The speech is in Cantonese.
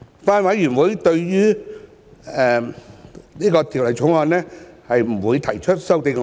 法案委員會不會對《條例草案》提出修正案。